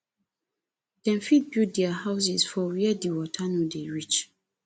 dem fit build their houses for where di water no dey reach